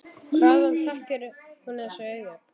Hvaðan þekkir hún þessi augu?